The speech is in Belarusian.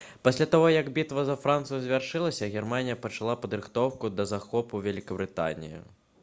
пасля таго як бітва за францыю завяршылася германія пачала падрыхтоўку да захопу вялікабрытаніі